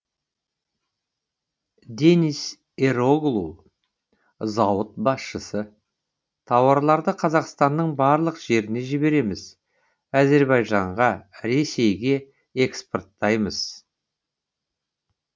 дениз эроглу зауыт басшысы тауарларды қазақстанның барлық жеріне жібереміз әзербайжанға ресейге экспорттаймыз